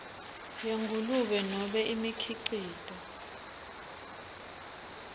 yengulube nobe imikhicito